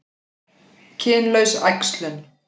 Kynlaus æxlun